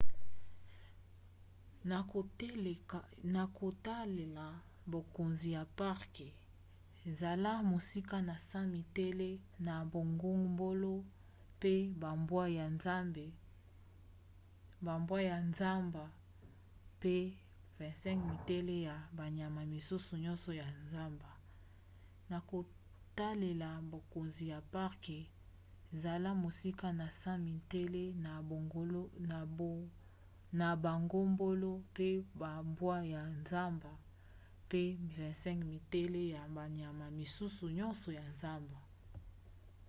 na kotalela bakonzi ya parke zala mosika na 100 metele na bangombolo mpe bambwa ya zamba mpe 25 metele ya banyama misusu nyonso ya zamba!